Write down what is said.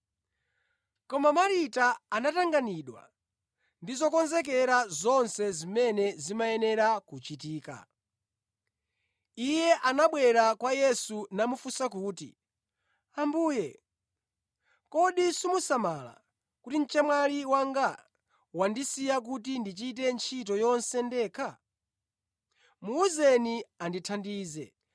Koma Marita anatanganidwa ndi zokonzekera zonse zimene zimayenera kuchitika. Iye anabwera kwa Yesu namufunsa kuti, “Ambuye, kodi simusamala kuti mchemwali wanga wandisiya kuti ndichite ntchito yonse ndekha? Muwuzeni andithandize!”